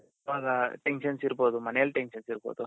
ಈವಾಗ tensions ಇರ್ಬೊದು ಮನೆಯಲ್ tensions ಇರ್ಬೊದು